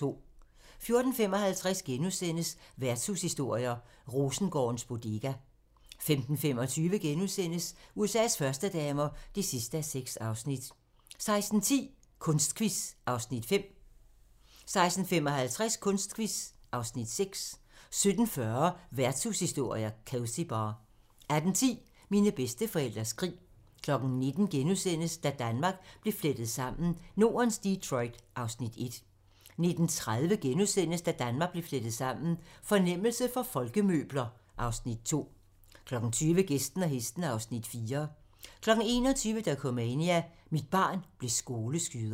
14:55: Værtshushistorier: Rosengårdens Bodega * 15:25: USA's førstedamer (6:6)* 16:10: Kunstquiz (Afs. 5) 16:55: Kunstquiz (Afs. 6) 17:40: Værtshushistorier: Cosy Bar 18:10: Mine bedsteforældres krig 19:00: Da Danmark blev flettet sammen: Nordens Detroit (Afs. 1)* 19:30: Da Danmark blev flettet sammen: Fornemmelse for folkemøbler (Afs. 2)* 20:00: Gæsten og hesten (Afs. 4) 21:00: Dokumania: Mit barn blev skoleskyder